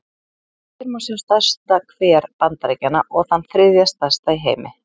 Hér má sjá stærsta hver Bandaríkjanna, og þann þriðja stærsta í heimi.